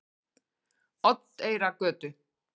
Oddeyrargötu